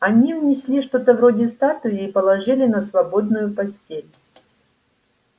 они внесли что-то вроде статуи и положили на свободную постель